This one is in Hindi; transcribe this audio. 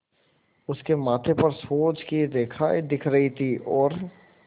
उसके माथे पर सोच की रेखाएँ दिख रही थीं और